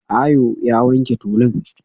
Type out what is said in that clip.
Ayo ya wanke tulun